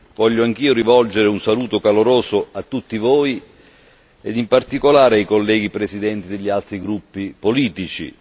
voglio anch'io rivolgere un saluto caloroso a tutti voi ed in particolare ai colleghi presidenti degli altri gruppi politici.